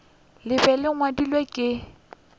le be le ngwadilwe ke